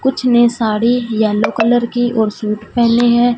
कुछ ने sari yellow colour की और सूट पहने हैं।